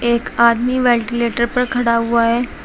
एक आदमी वेंटिलेटर पर खड़ा हुआ है।